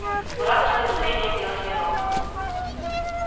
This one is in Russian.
но радостное настроение длилось недолго